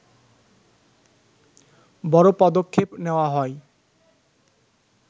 বড় পদক্ষেপ নেওয়া হয়